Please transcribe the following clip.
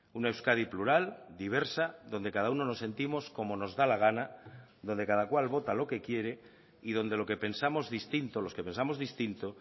una euskadi plural diversa donde cada uno nos sentimos como nos da la gana donde cada cual vota lo que quiere y donde lo que pensamos distinto los que pensamos distinto